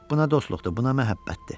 Buna dostluqdur, buna məhəbbətdir.